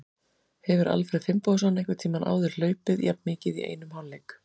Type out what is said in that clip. Hefur Alfreð Finnbogason einhvern tímann áður hlaupið jafn mikið í einum hálfleik?